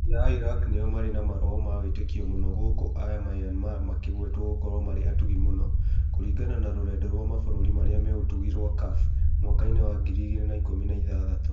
Raia a Iraq nĩo marĩ na maroho ma wĩtĩkio mũno gũkũ a Myanmar makĩgwetwo gũkorwo marĩ atugi mũno kũringana na rũrenda rwa mabũrũri marĩa me ũtugi rwa CAF mwaka-inĩ wa ngiri igĩrĩ na ikũmi na ithathatũ